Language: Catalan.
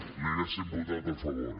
l’hi haguéssim votat a favor